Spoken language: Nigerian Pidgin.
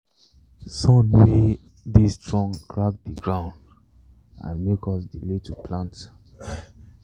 sun way dey strong crack the ground and make us delay to plant.